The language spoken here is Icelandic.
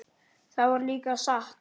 Það var líka satt.